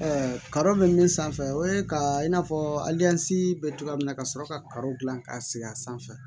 kadɔ bɛ min sanfɛ o ye ka i n'a fɔ bɛ cogoya min na ka sɔrɔ karo dilan ka sigi a sanfɛ